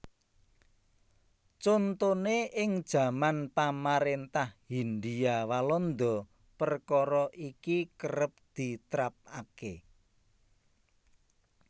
Contoné ing jaman pamaréntah Hindia Walanda perkara iki kerep ditrapaké